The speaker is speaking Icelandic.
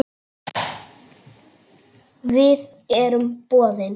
Við erum boðin.